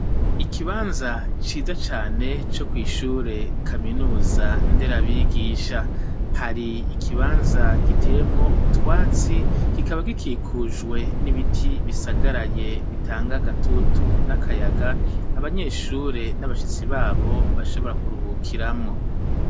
Ikibanza ciza cane, co kw'ishure kaminuza nderabigisha; hari ikibanza giteyemwo utwatsi, kikaba gikikujwe n'ibiti bisagaraye bitanga gatutu n'akayaga, abanyeshure n'abashitsi babo bashobora kuruhukiramwo.